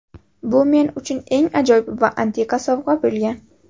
Bu men uchun eng ajoyib va antiqa sovg‘a bo‘lgan.